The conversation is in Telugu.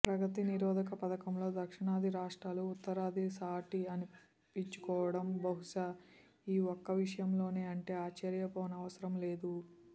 ప్రగతి నిరోధక పథంలో దక్షిణాది రాష్ట్రాలు ఉత్తరాదికి సాటి అనిపించుకోడం బహుశా ఈ ఒక్క విషయంలోనే అంటే ఆశ్చర్యపోనవసరం లేదు